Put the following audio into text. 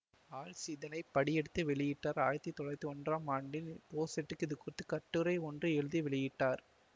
ஹால்ச் இதனை படியெடுத்து வெளியிட்டார் ஆயிரத்தி தொள்ளாயிரத்தி ஒன்றாம் ஆண்டில் போசெட்டும் இது குறித்துக் கட்டுரை ஒன்றை எழுதி வெளியிட்டார்